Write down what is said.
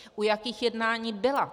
U jakých jednání byla?